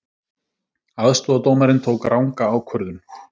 Aðstoðardómarinn tók ranga ákvörðun